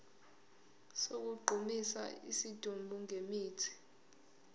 sokugqumisa isidumbu ngemithi